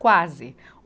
Quase.